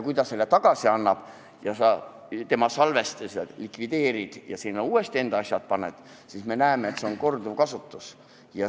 Kui tudeng selle tagasi annab, sina tema salvestised likvideerid ja uuesti enda asjad asemele paned, siis on see korduvkasutus.